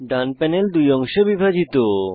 ডান panel দুই অংশে বিভাজিত